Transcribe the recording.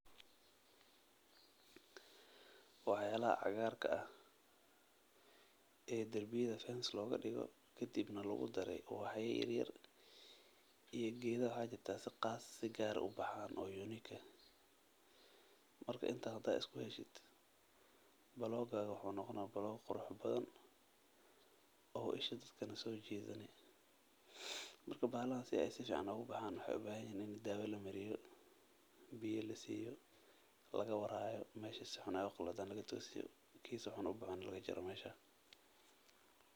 Waxyalaxa caqarka ah ee darbiyadha [cd] fence logadigo, kadibna lagudaree ubax yaa yaryar, iyo gedha waxjirta si qass si qar ha ubaxaan oo unique eh, marka inta hadad iskuxeshid blokaga wuxu nogoona block queux badan,o isha dadka dan sojitaa, marka bahaladhas inay sufican ogubaxaan wax ubaxanyiin ini dawo malariyo, biya lasiyo lagawar xayoo, meshi si xuun ay u galocdhan lagatosiyo, ki si xuun ubaxana lagajaro mesha.